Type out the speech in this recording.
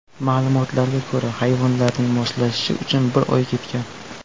Ma’lumotlarga ko‘ra, hayvonlarning moslashishi uchun bir oy ketgan.